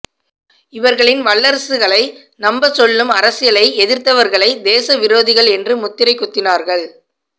இவர்களின் வல்லரசுகளை நம்பச் சொல்லும் அரசியலை எதிர்த்தவர்களை தேசவிரோதிகள் என்று முத்திரை குத்தினார்கள்